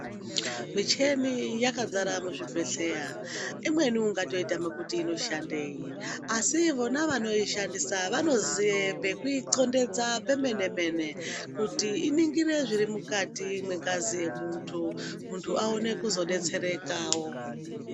Misheni yakazara muzvibhedhlera, imweni ungatoyitame kuti inoshandeyi, asi vona vanoishandisa vanoziva pekuyicondedza pemenemene kuti iningire zvirimukati mengazi emuntu, muntu awone kuzodetserekawo.